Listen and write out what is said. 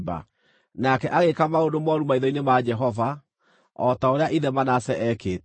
Nake agĩĩka maũndũ mooru maitho-inĩ ma Jehova, o ta ũrĩa ithe Manase eekĩte.